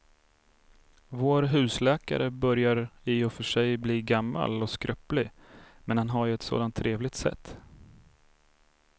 Vår husläkare börjar i och för sig bli gammal och skröplig, men han har ju ett sådant trevligt sätt!